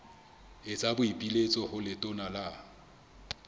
etsa boipiletso ho letona la